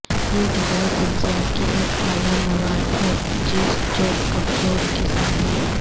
یہ غذائی اجزاء کی ایک اعلی مواد ہے جس چوقبصور قسم ہے